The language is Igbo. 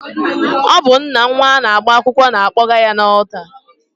Ọ bụ nna nnwa na-agba akwụkwọ na-akpọga ya n'ọlta